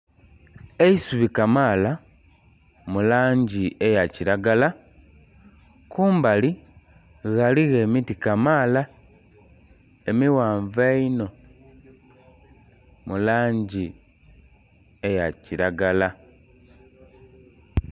Eisubi kamaala mu langi eya kilagala, kumbali ghaligho emiti kamaala emighanvu einho mu langi eya kilagala.